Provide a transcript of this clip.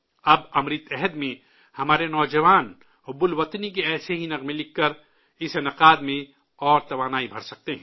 اب امرت کال میں، ہمارے نوجوان، حب الوطنی کے ایسے ہی گیت لکھ کر، اس پروگرام میں مزید توانائی بھر سکتے ہیں